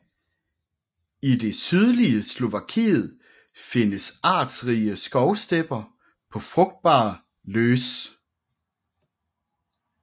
I det sydlige Slovakiet findes artsrige skovstepper på frugtbar löss